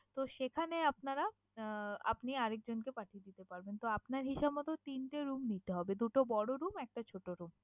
তো সেখানে আপনারা আহ আপনি আর একজঙ্কে পাঠিয়ে দিতে পারবেন। তো আপনার হিসাবমতো তিনটে room নিতে হবে। দুটো বড় room, একটা ছোট room ।